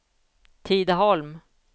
Tidaholm